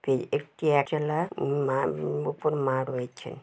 একটি অ্যাচেলা মা উম ওপর মা রয়েছে ।